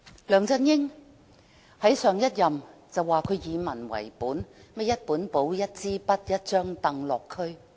梁振英在上任時聲稱自己以民為本，會帶一本簿、一支筆、一張櫈落區。